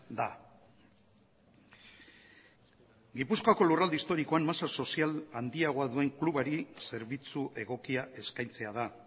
da gipuzkoako lurralde historikoan masa sozial handiagoa duen klubari zerbitzu egokia eskaintzea da